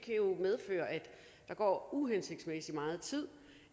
der går uhensigtsmæssig meget tid